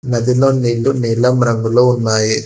నదిలో నీళ్లు నీలం రంగులో ఉన్నాయి.